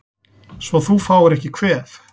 Svo þú fáir ekki kvef